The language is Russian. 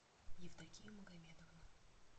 евдокию магомедовну